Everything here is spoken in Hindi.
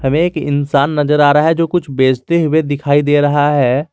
एक इंसान नजर आ रहा है जो कुछ बेचते हुए दिखाई दे रहा है।